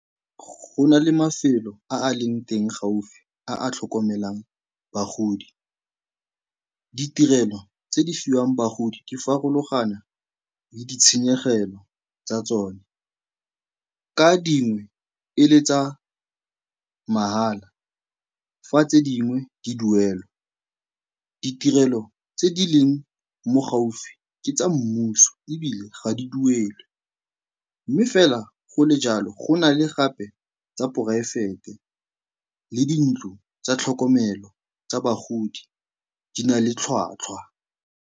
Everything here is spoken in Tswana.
Go na le mafelo a a leng teng gaufi a a tlhokomelang bagodi. Ditirelo tse di fiwang bagodi di farologana le ditshenyegelo tsa tsone, ka dingwe e le tsa mahala, fa tse dingwe di duelwa. Ditirelo tse di leng mo gaufi ke tsa mmuso ebile ga di duelwe mme fela go le jalo, go na le gape tsa poraefete le dintlo tsa tlhokomelo tsa bagodi, di na le tlhwatlhwa.